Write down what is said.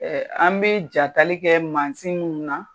an bɛ jatali kɛ mansin minnu na.